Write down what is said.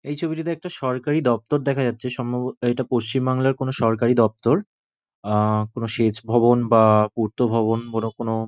এই ছবিটিতে একটা সরকারি দপ্তর দেখা যাচ্ছে সম্ভব এটা পশ্চিমবাংলার কোন সরকারি দপ্তর আ কোন সেচ ভবন বা কোন পূর্ত ভবন বড় কোনো--